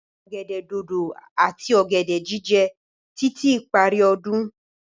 Ọ̀gẹ̀dẹ̀ dodo ati ọ̀gẹ̀dẹ̀ jíjẹ títí ìparí ọdún.